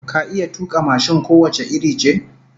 Ka iya tuka mashin ko wace iri ce?